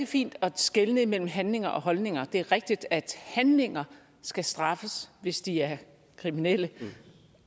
fint at skelne mellem handlinger og holdninger det er rigtigt at handlinger skal straffes hvis de er kriminelle